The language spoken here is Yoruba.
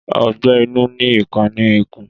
Ọgbẹ inu ni ipà ni ikún